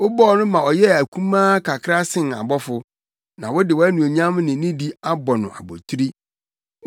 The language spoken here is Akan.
Wobɔɔ no ma ɔyɛɛ akumaa kakra sen abɔfo na wode wʼanuonyam ne nidi abɔ no abotiri.